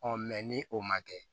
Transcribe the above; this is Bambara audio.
ni o ma kɛ